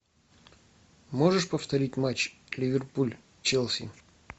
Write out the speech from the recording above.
можешь повторить матч ливерпуль челси